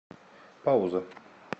пауза